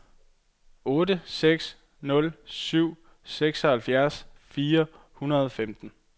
otte seks nul syv seksoghalvfjerds fire hundrede og femten